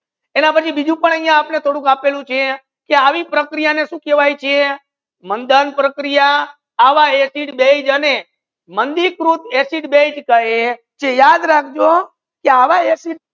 એના પચી બીજુ પણ યાહિયા થોડુક આપેલુ છે કે આવી પ્રક્રિયા ને સુ કહેવયે છે મંધન પ્રક્રિયા આવા એસિડ બેઝ અને માંધી રૂફ acid base કહે છે યાદ રાખો કે આવા acid